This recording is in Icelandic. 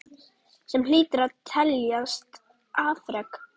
Sem hlýtur að teljast afrek.